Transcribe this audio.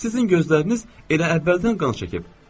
Sizin gözləriniz elə əvvəldən qan çəkib.